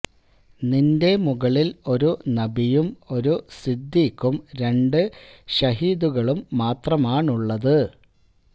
നിന്റെ മുകളില് ഒരു നബിയും ഒരു സ്വിദ്ദീഖും രണ്ട് ശഹീദുകളും മാത്രമാണുള്ളത്